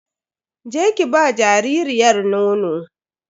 Je ki ba jaririyar nono.